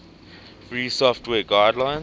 free software guidelines